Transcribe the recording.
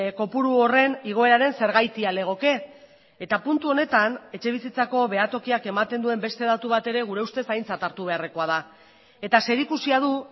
kopuru horren igoeraren zergatia legoke eta puntu honetan etxe bizitzako behatokiak ematen duen beste datu bat ere gure ustez aintzat hartu beharrekoa da eta zerikusia du